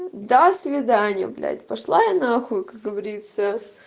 до свидания блять пошла я нахуй как говорится